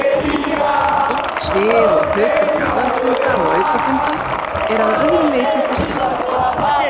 Valdsvið og hlutverk aðalfunda og aukafunda er að öðru leyti það sama.